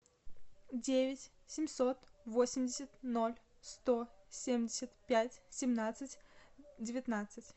девять семьсот восемьдесят ноль сто семьдесят пять семнадцать девятнадцать